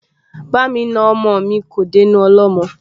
Ba'mi na ọmọ mi kò dénú ọlọ́mọ